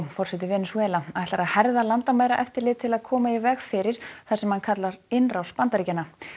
forseti Venesúela ætlar að herða landamæraeftirlit til að koma í veg fyrir það sem hann kallar innrás Bandaríkjanna